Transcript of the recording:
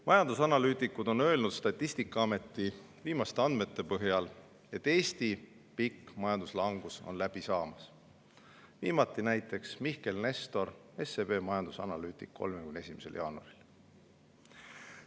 Majandusanalüütikud on öelnud Statistikaameti viimaste andmete põhjal, et Eesti pikk majanduslangus on läbi saamas, viimati näiteks Mihkel Nestor, SEB majandusanalüütik, 31. jaanuaril.